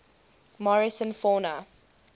morrison fauna